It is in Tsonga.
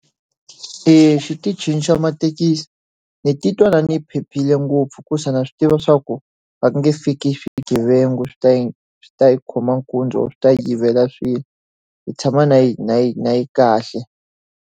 Exitichini xa mathekisi ni titwa na ni phephile ngopfu hikuva na swi tiva swa ku va nge fiki swigevenga swi ta hi swi ta hi khoma nkunzi or swi ta hi yivela swilo. Hi tshama na hi na hi na hi kahle.